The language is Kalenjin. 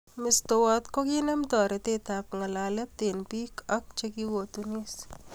Mestowot kokinem toretet ab ngalalet eng biik ak chekikotunis